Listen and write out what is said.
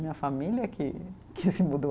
Minha família que que se mudou.